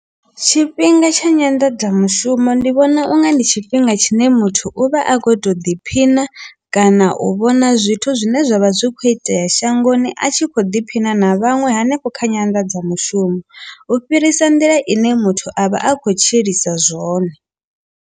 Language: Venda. Tshifhinga tsha nyanḓadzamushumo ndi vhona unga ndi tshifhinga tshine muthu u vha a khou tou ḓiphina kana u vhona zwithu zwine zwavha zwi kho itea shangoni a tshi kho ḓiphina na vhaṅwe hanefho kha nyanḓadzamushumo u fhirisa nḓila ine muthu avha a kho tshilisa zwone.